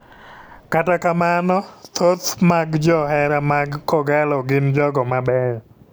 Kata kamano thoth mag jo johera mag kogallo gin jogo mabeyo.